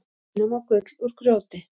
Tína má gull úr grjóti.